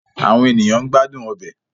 Awọn eniyan n gbadun ọbẹ